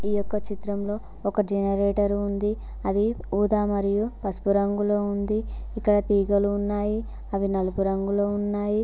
ఈ యొక్క చిత్రంలో ఒక జనరేటర్ ఉంది అది ఊదా మరియు పసుపు రంగులో ఉంది ఇక్కడ తీగలు ఉన్నాయి అవి నలుపు రంగులో ఉన్నాయి.